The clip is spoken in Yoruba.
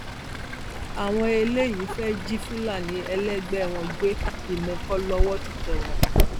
àwọn eléyìí fẹẹ jí fúlàní ẹlẹgbẹ wọn gbé ìmẹkọ lọwọ ti tẹ wọn